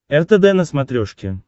ртд на смотрешке